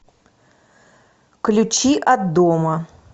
ключи от дома